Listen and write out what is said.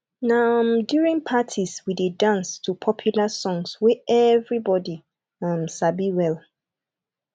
na um during parties we dey dance to popular songs wey everybody um sabi well